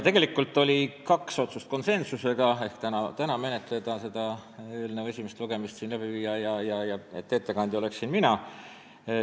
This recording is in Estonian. Konsensuslikke otsuseid olid tegelikult kaks: tänane siin menetlemine, selle eelnõu esimese lugemise läbiviimine, ja see, et ettekandja oleksin mina.